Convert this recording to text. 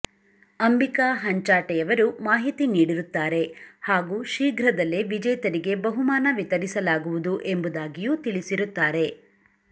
ಅಂಬಿಕಾ ಹಂಚಾಟೆಯವರು ಮಾಹಿತಿ ನೀಡಿರುತ್ತಾರೆ ಹಾಗೂ ಶೀಘ್ರದಲ್ಲೇ ವಿಜೇತರಿಗೆ ಬಹುಮಾನ ವಿತರಿಸಲಾಗುವದು ಎಂಬುದಾಗಿಯೂ ತಿಳಿಸಿರುತ್ತಾರೆ